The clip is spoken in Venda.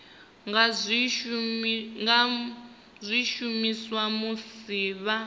nga zwi shumisa musi vha